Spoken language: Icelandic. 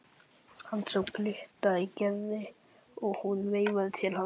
Hann sá glitta í Gerði og hún veifaði til hans.